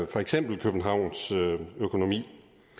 for eksempel københavns økonomi